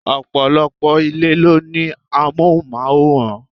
Ọ̀pọ̀lọpọ̀ ilé ló ní amohunmaworan.